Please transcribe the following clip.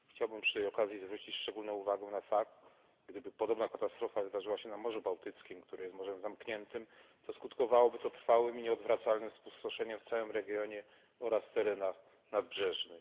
Chciałbym przy tej okazji zwrócić szczególną okazję na fakt, gdyby podobna katastrofa wydarzyła się na Morzu Bałtyckim, które jest morzem zamkniętym, to skutkowałoby to trwałym i nieodwracalnym spustoszeniem w całym regionie oraz terenach nadbrzeżnych.